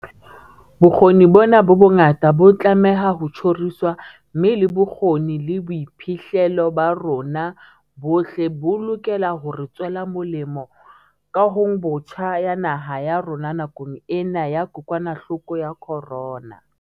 Bokgoni bona bo bongata bo tlameha ho tjhoriswa, mme le bokgoni le boiphihlelo ba rona bohle bo lokela hore tswela molemo kahongbotjha ya naha ya rona nakong ena ya kokwanahloko ya corona.